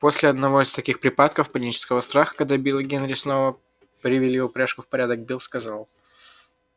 после одного из таких припадков панического страха когда билл и генри снова привели упряжку в порядок билл сказал